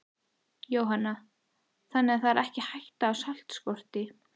Jóhanna: Þannig það er ekki hætta á saltskorti?